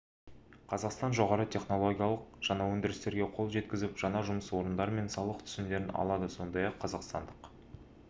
қазақстан жоғары технологиялық жаңа өндірістерге қол жеткізіп жаңа жұмыс орындары мен салық түсімдерін алады сондай-ақ қазақстандық